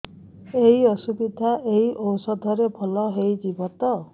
ଏଇ ଅସୁବିଧା ଏଇ ଔଷଧ ରେ ଭଲ ହେଇଯିବ ତ